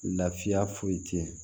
Lafiya foyi tɛ